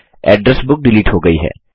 address book delete हो गयी है